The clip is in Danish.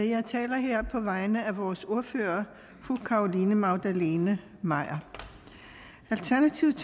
jeg taler her på vegne af vores ordfører fru carolina magdalene maier alternativet